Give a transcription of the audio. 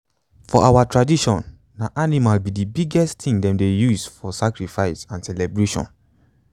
for our tradition na animal be the biggest thing them dey use for sacrifice and celebration.